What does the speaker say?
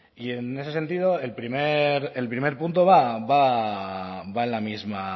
y en ese sentido el primer punto va en la misma